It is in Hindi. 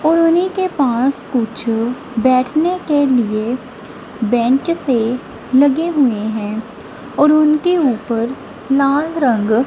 कॉलोनी के पास कुछ बैठने के लिए बेंच से लगे हुए हैं और उनके ऊपर लाल रंग--